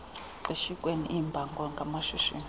xeshikweni iimbango ngamashishini